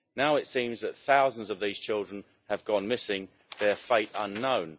Now it seems that thousands of these children have gone missing, their fate unknown.